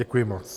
Děkuji moc.